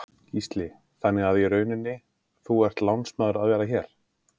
Gísli: Þannig að í rauninni, þú ert lánsmaður að vera hér?